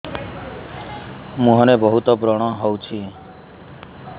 ମୁଁହରେ ବହୁତ ବ୍ରଣ ହଉଛି